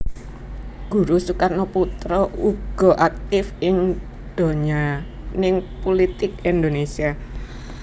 Guruh Soekarnoputra uga aktif ing donyaning pulitik Indonésia